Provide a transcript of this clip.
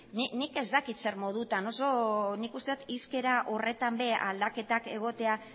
nik ez dakit zer modutan nik uste dut hizkera horretan ere aldaketak egotea